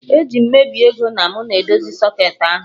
Eje m mebie ego na mụ na edozi socketị ahụ